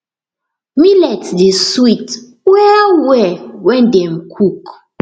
millet dey sweet wellwell when dem cook